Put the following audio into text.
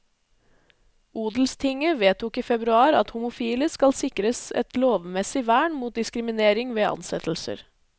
Odelstinget vedtok i februar at homofile skal sikres et lovmessig vern mot diskriminering ved ansettelser.